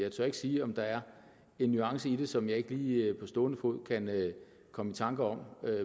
jeg tør ikke sige om der er en nuance i det som jeg ikke lige på stående fod kan komme i tanke om